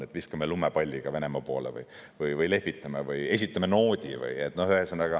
Kas viskame lumepalliga Venemaa poole või lehvitame või esitame noodi?